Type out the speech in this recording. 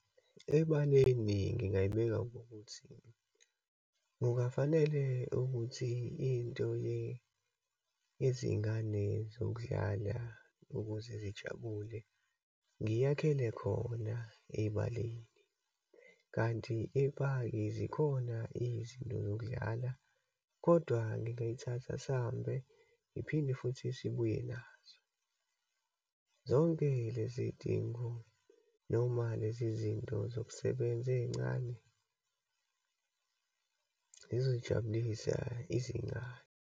Ebaleni ngingayibeka ngokuthi, kungafanele ukuthi into yezingane zokudlala ukuze zijabule, ngiyakhela khona ebaleni. Kanti epaki zikhona izinto zokudlala, kodwa ngingayithatha sihambe ngiphinde futhi sibuye nazo. Zonke lezidingo noma lezi zinto zokusebenza eyincane yizojabulisa izingane.